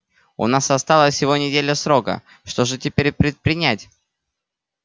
у нас осталась всего неделя срока что же теперь предпринять